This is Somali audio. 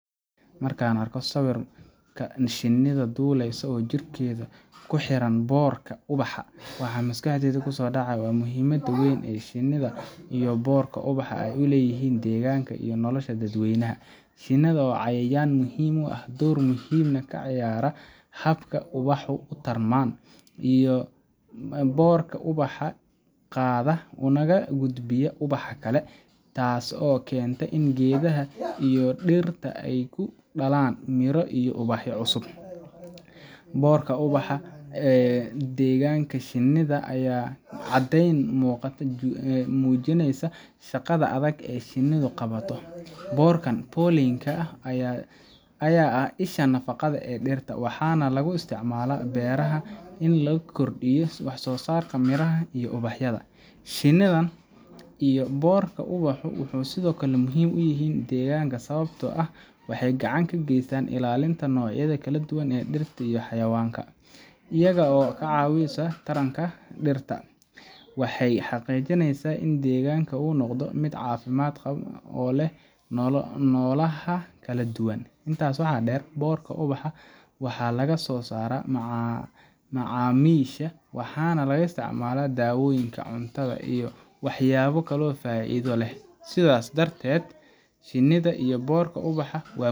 Markaan arko sawirka shinida، waa muhimad weyn, waa cayayan muhiim ah, boorka ubaxa qaada una gudbiya mid kale, geedaha kudalaan dir cusub, mujineyso shaqada adag ee qabato, waxaa lagu isticmaala in lagudbiyo wax soo saarka, waxeey gacan kageestan xawayanka cafimaadkiisa, degaanka oo leh nolaha kala duban, waxa laga isticmaala dawoyinkan cunada.